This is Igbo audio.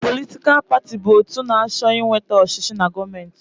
Politikal paatị bụ otu na-achọ ịnweta ọchịchị na gọọmenti.